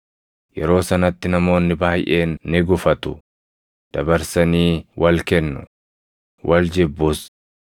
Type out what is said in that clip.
Yeroo sanatti namoonni baayʼeen ni gufatu; dabarsanii wal kennu; wal jibbus;